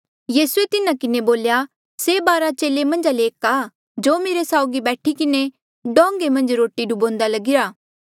यीसूए तिन्हा किन्हें बोल्या से बारा चेले मन्झा ले एक आ जो मेरे साउगी बैठी किन्हें डोंगें मन्झ रोटी डुबान्दा लगीरा